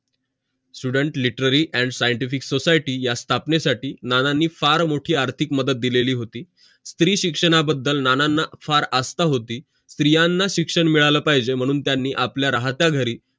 student literally and scientific society या स्थापने साठी नानांनी फार मोठी आर्थिक मदत दिलेली होती स्री शिक्षणा बदल नानांना फार आस्था होती स्त्रियांना शिक्षण मिळालं पाहिज माणून त्यांनी आपल्या राहत्या घरी